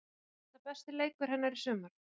Var þetta besti leikur hennar í sumar?